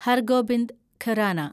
Har Gobind Khorana